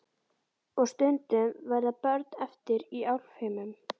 Og stundum verða börn eftir í álfheimum.